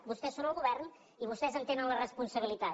vostès són el govern i vostès en tenen la responsabilitat